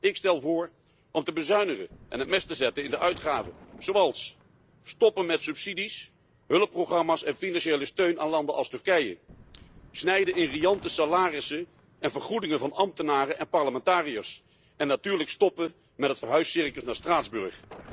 Ik stel voor om te bezuinigen en het mes te zetten in de uitgaven door onder andere te stoppen met subsidies, hulpprogramma's en financiële steun aan landen als Turkije, te snijden in riante salarissen en vergoedingen van ambtenaren en parlementariërs en natuurlijk te stoppen met het verhuiscircus naar Straatsburg.